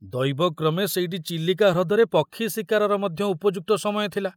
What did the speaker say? ଦୈବକ୍ରମେ ସେଇଟି ଚିଲିକା ହ୍ରଦରେ ପକ୍ଷୀ ଶିକାରର ମଧ୍ୟ ଉପଯୁକ୍ତ ସମୟ ଥିଲା।